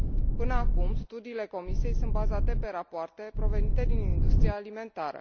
Până acum, studiile Comisiei sunt bazate pe rapoarte provenite din industria alimentară.